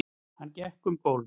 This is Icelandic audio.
Hann gekk um gólf.